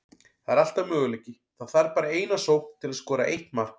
Það er alltaf möguleiki, það þarf bara eina sókn til að skora eitt mark.